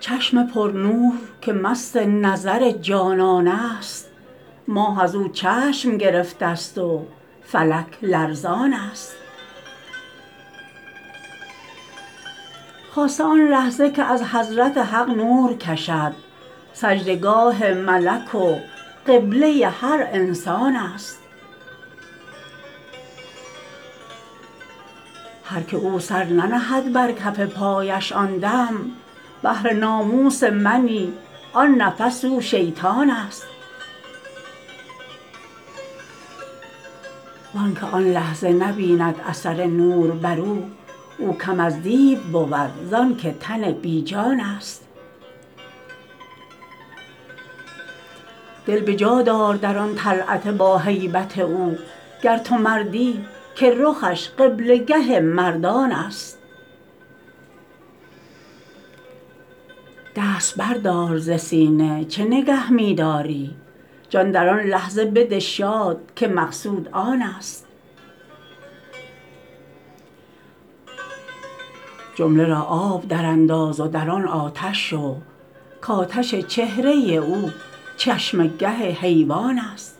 چشم پرنور که مست نظر جانان است ماه از او چشم گرفته ست و فلک لرزان است خاصه آن لحظه که از حضرت حق نور کشد سجده گاه ملک و قبله ی هر انسان است هر که او سر ننهد بر کف پایش آن دم بهر ناموس منی آن نفس او شیطان است و آنک آن لحظه نبیند اثر نور بر او او کم از دیو بود زانک تن بی جان است دل به جا دار در آن طلعت باهیبت او گر تو مردی که رخش قبله گه مردان است دست بردار ز سینه چه نگه می داری جان در آن لحظه بده شاد که مقصود آن است جمله را آب درانداز و در آن آتش شو کآتش چهره ی او چشمه گه حیوان است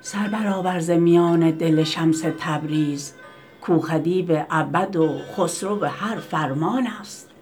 سر برآور ز میان دل شمس تبریز کاو خدیو ابد و خسرو هر فرمان است